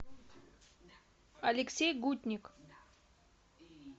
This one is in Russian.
алексей гутник